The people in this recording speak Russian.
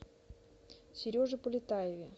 сереже полетаеве